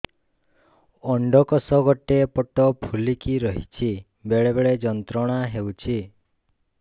ଅଣ୍ଡକୋଷ ଗୋଟେ ପଟ ଫୁଲିକି ରହଛି ବେଳେ ବେଳେ ଯନ୍ତ୍ରଣା ହେଉଛି